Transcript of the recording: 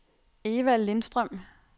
Evald Lindstrøm